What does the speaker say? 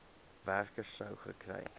werker sou gekry